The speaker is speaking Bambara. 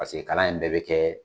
Paseke kala in bɛɛ be kɛ